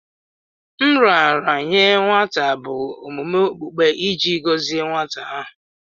Nraranye nwata bụ omume okpukpe iji gọzie nwata ahụ.